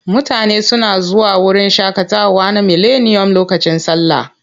Mutane suna zuwa wurin shaƙatawa na Mileniyom lokacin sallah.